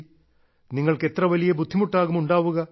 നിങ്ങൾക്ക് എത്ര വലിയ ബുദ്ധിമുട്ടാകും ഉണ്ടാവുക